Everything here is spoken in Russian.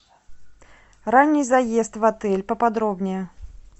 ранний заезд в отель поподробнее